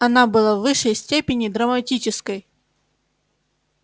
она была в высшей степени драматической